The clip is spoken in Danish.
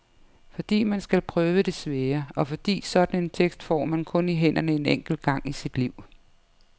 Fordi man skal prøve det svære, og fordi sådan en tekst får man kun i hænderne en enkelt gang i sit liv.